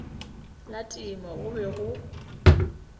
la temo go be go